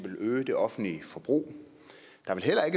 at øge det offentlige forbrug